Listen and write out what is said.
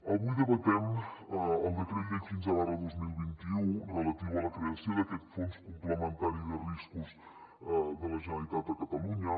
avui debatem el decret llei quinze dos mil vint u relatiu a la creació d’aquest fons complementari de riscos de la generalitat de catalunya